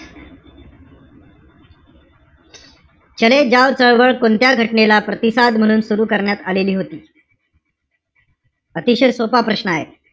चले जाव चळवळ कोणत्या घटनेला प्रतिसाद म्हणून सुरु करण्यात आलेली होती? अतिशय सोपा प्रश्न आहे.